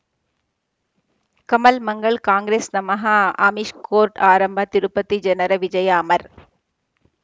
ಕಮಲ್ ಮಂಗಳ್ ಕಾಂಗ್ರೆಸ್ ನಮಃ ಅಮಿಷ್ ಕೋರ್ಟ್ ಆರಂಭ ತಿರುಪತಿ ಜನರ ವಿಜಯ ಅಮರ್